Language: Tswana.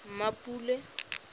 mmapule